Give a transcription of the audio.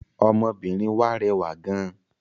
Ọmọbìnrin wà rẹwà gán.